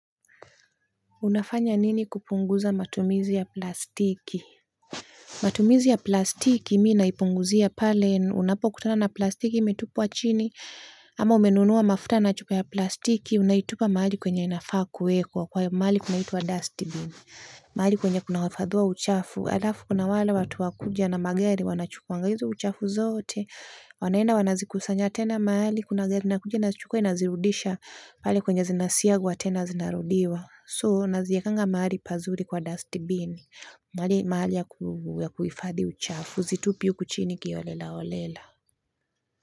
Unafanya nini kupunguza matumizi ya plastiki Matumizi ya plastiki mimi naipunguzia pale unapokutana na plastiki imetupwa chini ama umenunua mafuta na chups ya plastiki unaitupa mahali kwenye inafaa kuwekwa kwa mahali kuna itwa dustbin mahali kwenye kuna wafadhua uchafu, halafu kuna wala watu wa kuja na magari wanachukuanga hizo uchafu zote wanaenda wanazikusanya tena mahali kuna gari inakuja inazichukwa inazirudisha mahali kwenye zinasiagwa tena zinarudiwa. So naziekanga mahali pazuri kwa dustbin mahali ya kuhifadhi uchafu situpi huku chini kiholelaholela.